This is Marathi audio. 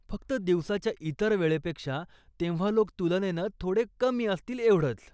फक्त दिवसाच्या इतर वेळेपेक्षा तेव्हा लोक तुलनेनं थोडे कमी असतील एवढंच.